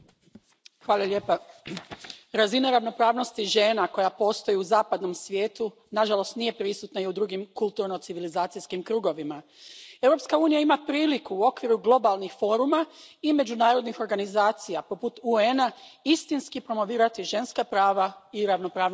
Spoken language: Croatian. Poštovani predsjedavajući, razina ravnopravnosti žena koja postoji u zapadnom svijetu nažalost nije prisutna i u drugim kulturno civilizacijskim krugovima. Europska unija ima priliku u okviru globalnih foruma i međunarodnih organizacija poput UN a istinski promovirati ženska prava i ravnopravnost spolova.